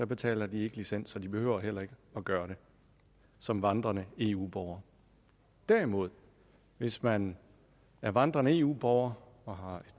betaler de ikke licens og de behøver heller ikke at gøre det som vandrende eu borgere derimod hvis man er vandrende eu borger og har et